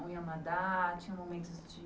Ou iam nadar, tinham momentos de...